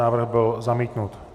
Návrh byl zamítnut.